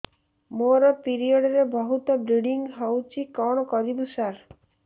ମୋର ପିରିଅଡ଼ ରେ ବହୁତ ବ୍ଲିଡ଼ିଙ୍ଗ ହଉଚି କଣ କରିବୁ ସାର